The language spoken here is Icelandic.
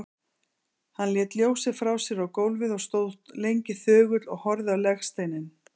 Hann lét ljósið frá sér á gólfið og stóð lengi þögull og horfði á legsteininn.